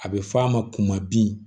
A bɛ fɔ a ma bin